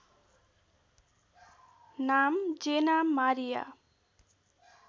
नाम Jenna Maria